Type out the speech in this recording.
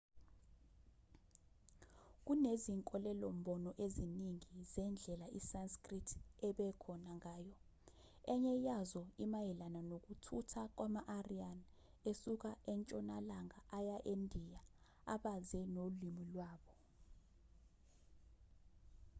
kunezinkolelo-mbono eziningi zendlela isanskrit ebekhona ngayo enye yazo imayelana nokuthutha kwama-aryan esuka entshonalanga aya endiya abaze nolimi lwabo